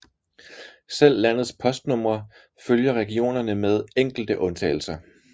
Selv landets postnumre følger regionerne med enkelte undtagelser